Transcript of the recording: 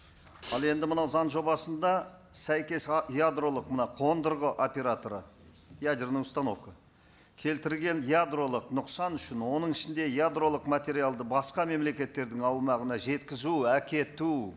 ал енді мынау заң жобасында сәйкес ядролық мына қондырғы операторы ядерная установка келтірген ядролық нұқсан үшін оның ішінде ядролық материалды басқа мемлекеттердің аумағына жеткізу әкету